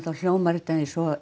þá hljómar þetta eins og